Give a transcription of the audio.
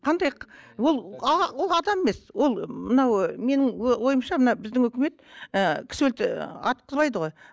қандай ол ол адам емес ол мынау менің ойымша мына біздің үкімет ы кісі атқызбайды ғой